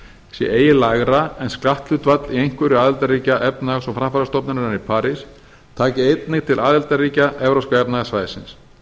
sé eigi lægra en skatthlutfall í einhverju aðildarríkja efnahags og framfarastofnunarinnar í parís taki einnig til aðildarríkja evrópska efnahagssvæðisins